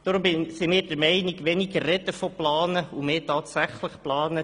Deshalb sind wir der Meinung, man sollte weniger von Planung sprechen und mehr tatsächlich planen.